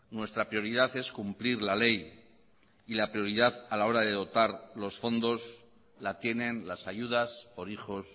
nuestra prioridad es cumplir la ley y la prioridad a la hora de dotar los fondos la tienen las ayudas por hijos